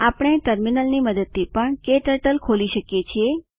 આપણે ટર્મિનલની મદદથી પણ ક્ટર્ટલ ખોલી શકીએ છીએ